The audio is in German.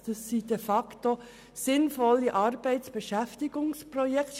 Es sind de facto sinnvolle Arbeitsbeschäftigungsprojekte;